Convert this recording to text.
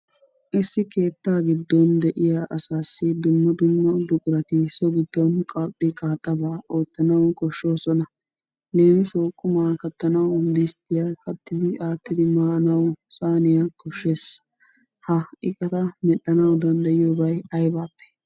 Issi keettaa giddon de'iya asassi dumma dumma buqurati so giddon qaxxi qaaxabaa oottanawu koshshoosona. Leemissuwawu qummaa kattanawu disttiyaa kattidi aattidi maanawu saaniya koshshees. Ha iqqata medhdhanawu danddayiyobay aybaappe?